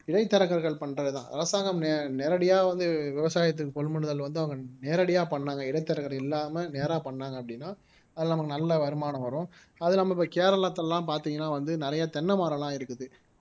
இடைத்தரகர்கள் பண்றதுதான் அரசாங்கம் நே நேரடியா வந்து விவசாயத்துக்கு கொள்முதல் வந்து அவங்க நேரடியா பண்ணாங்க இடைத்தரகர் இல்லாமல் நேரா பண்ணாங்க அப்படின்னா அதுல நமக்கு நல்ல வருமானம் வரும் அது நம்ம இப்ப கேரளத்துல எல்லாம் பாத்தீங்கன்னா வந்து நிறைய தென்னைமரம் எல்லாம் இருக்குது